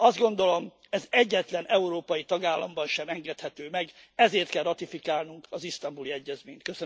Azt gondolom, ez egyetlen európai tagállamban sem engedhető meg, ezért kell ratifikálnunk az Isztambuli Egyezményt.